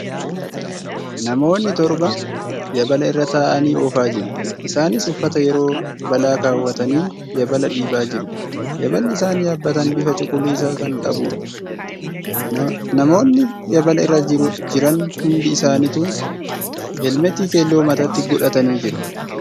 Namoonnit torba yaabala irra taa'anii oofaajiru. Isaaniis uffata yeroo balaa keewwatanii yaabala dhiibaa jiru . Yaaballi isaan yaabbatan bifa cuquliisa kn qabduudha. Namoonni yaabala irra jlran hundi isaanituu heelmeetii keelloo mataatti godhatanii jiru.